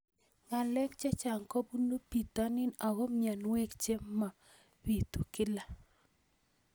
Ng'alek chechang' kopunu pitonin ako mianwogik che mapitu kila